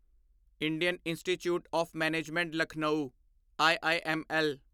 Indian institute of management Lucknow IIML